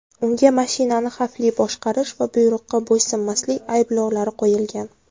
Unga mashinani xavfli boshqarish va buyruqqa bo‘ysunmaslik ayblovlari qo‘yilgan.